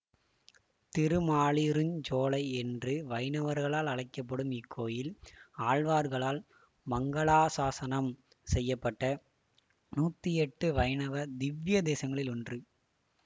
திருமாலிருஞ்சோலை என்று வைணவர்களால் அழைக்க படும் இக்கோயில் ஆழ்வார்களால் மங்களாசாசனம் செய்ய பட்ட நூற்றி எட்டு வைணவ திவ்யதேசங்களிள் ஒன்று